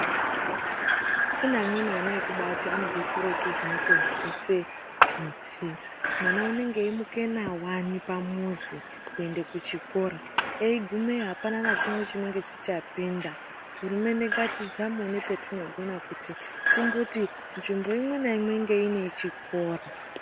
Kune ana amweni ekubaati anobve kuretu zvinotozwise tsitsi. Mwana unenga eimuka nawani pamuzi , kuende kuchikora. Eigumeyo apana nachimwe chinenge chichapinda. Hurumende ngatizamewo ngepetinokona, kuti timboti nzvimbo imwe naimwe inge ine chikora.